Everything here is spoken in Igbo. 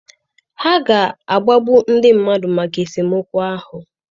Ha ga-agbagbu ndị mmadụ maka esemokwu ahụ.